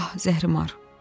Ah, Zəhri Mar.